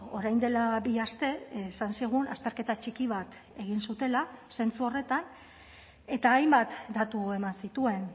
orain dela bi aste esan zigun azterketa txiki bat egin zutela zentzu horretan eta hainbat datu eman zituen